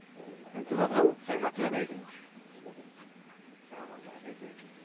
भाऊ काही म्हटलं नाही का काय म्हणणार आहे ते